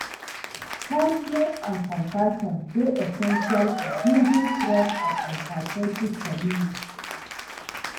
kindness and compassion dey essential for building strong and empathetic communities.